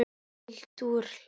Fylgt úr hlaði